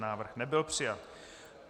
Návrh nebyl přijat.